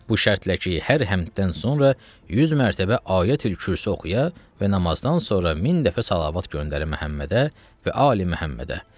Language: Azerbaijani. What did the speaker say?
Bu şərtlə ki, hər həmdən sonra 100 mərtəbə Ayətülkürsü oxuya və namazdan sonra min dəfə salavat göndərə Məhəmmədə və Ali Məhəmmədə.